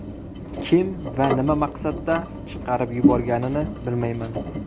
Kim va nima maqsadda chiqarib yuborganini bilmayman.